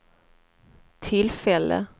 tillfälle